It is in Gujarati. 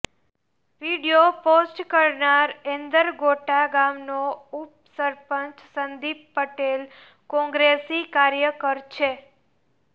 વીડિયો પોસ્ટ કરનાર એંદરગોટા ગામનો ઉપસરપંચ સંદીપ પટેલ કોંગ્રેસી કાર્યકર છે